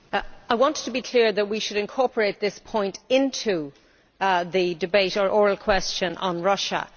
Mr President, I wanted to be clear that we should incorporate this point into the debate or oral question on Russia.